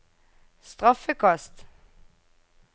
straffekast